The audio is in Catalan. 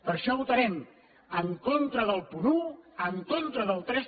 per això votarem en contra del punt un en contra del tres